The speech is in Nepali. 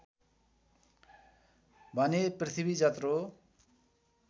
भने पृथ्वी जत्रो